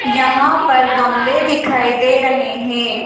यहां पर गमले दिखाई दे रहे हैं।